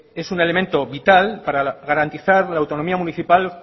es un elemento vital para garantizar la autonomía municipal